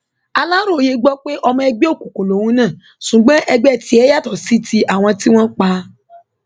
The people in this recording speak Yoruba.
aláròye gbọ pé ọmọ ẹgbẹ òkùnkùn lòun náà ṣùgbọn ẹgbẹ tiẹ yàtọ sí ti àwọn tí wọn pa á